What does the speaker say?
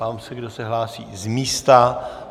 Ptám se, kdo se hlásí z místa.